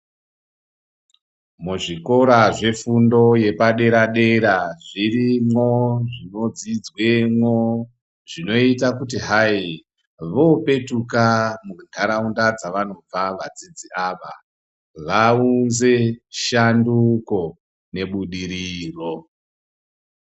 Muzvikora zvefundo yepadera dera zviripo zvinodzidzwemwo zvinoita kuti hai vopetuka muntaraunda dzavanobva vadzirzi ava vaunze shanduko nebudiriro.